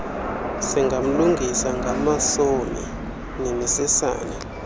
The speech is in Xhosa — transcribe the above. singamlungisa ngamasomi nemisesane